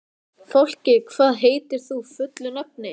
Fálki, hvað heitir þú fullu nafni?